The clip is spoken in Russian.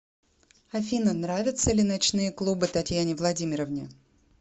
афина нравятся ли ночные клубы татьяне владимировне